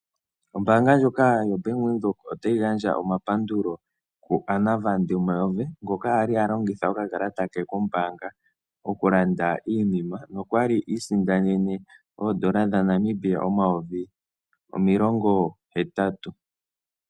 Ombaanga ndjoka yoBank Windhoek otayi gandja omapandulo kuAnna van der merwe ngoka ali alongitha okakalata ke kombaanga okulanda iinima nokwali iisindanene oondola dhaNamibia omayovi omilongo hetatu.